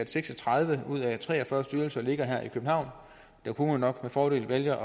seks og tredive ud af tre og fyrre styrelser ligger her i københavn der kunne man nok med fordel vælge